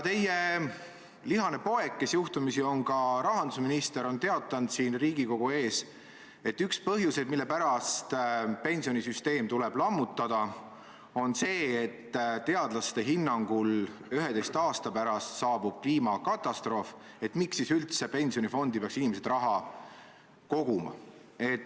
Teie lihane poeg, kes juhtumisi on ka rahandusminister, on teatanud siin Riigikogu ees, et üks põhjuseid, mille pärast pensionisüsteem tuleb lammutada, on see, et teadlaste hinnangul saabub 11 aasta pärast kliimakatastroof ja miks siis inimesed peaksid üldse pensionifondi raha koguma.